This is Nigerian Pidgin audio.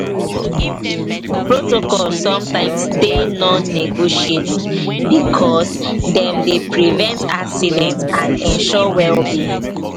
protocols sometimes dey non negotiable because dem dey prevent accident and ensure welbeing